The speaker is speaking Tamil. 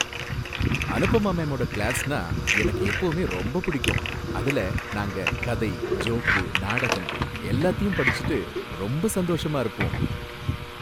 அனுபமா மேமோட கிளாஸ்னா எனக்கு எப்பவுமே ரொம்ப பிடிக்கும். அதுல நாங்க கதை, ஜோக்கு, நாடகம் எல்லாத்தையும் படிச்சிட்டு ரொம்ப சந்தோஷமா இருப்போம்.